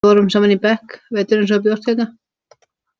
Við vorum saman í bekk veturinn sem þú bjóst hérna.